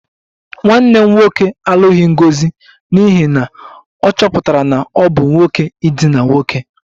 Nwanne m nwoke alụghị Ngozi n'ihi na ọ chọpụtara na ọ bụ nwoke idina nwoke